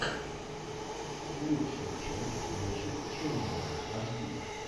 лучшая часть нашид ченнала аш ди